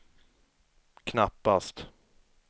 knappast